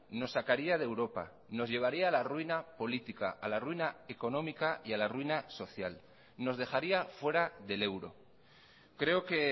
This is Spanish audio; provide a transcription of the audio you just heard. nos sacaría de europa nos llevaría a la ruina política a la ruina económica y a la ruina social nos dejaría fuera del euro creo que